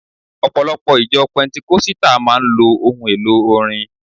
Ọ̀pọ̀lọpọ̀ ìjọ pẹntíkọ́sítà máa ń lò ohun elò orin